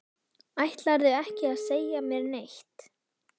Ætlarðu ekki að segja mér neitt?